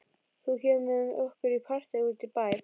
Þú kemur með okkur í partí út í bæ.